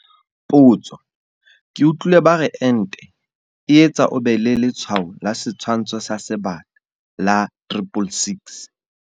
Potso, ke utlwile ba re ente e etsa o be le letshwao la setshwantsho sa Sebata la 666.